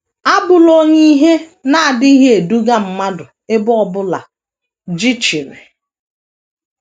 Abụla onye ihe na - adịghị eduga mmadụ ebe ọ bụla jichiri